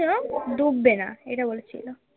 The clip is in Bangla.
ডুববে না এটা বলেছিল